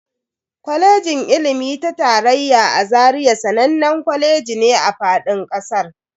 Kwalejin ilimi ta tarayya na Zaria sananne kwaleji ne a fadin kasar.